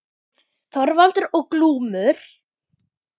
Þorvald og Glúm.